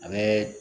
A bɛ